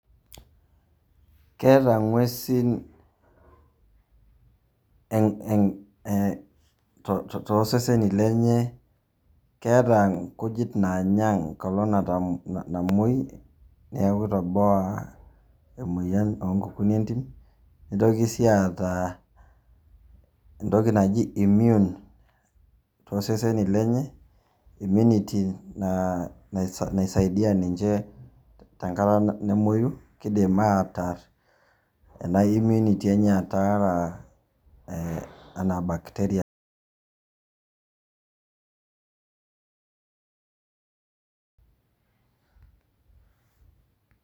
Keeta ing'uesin too seseni lenyee keeta nkujit naanya nkolong namoii naaku keitoboa imoyian oonkokunyi entim, neitoki sii aata entoki naji immune too seseni lenye immunity naa naisaidia ninche tenkata tenemoiyu keidim aatarr ana immnunity enyee aatara ana bacteria.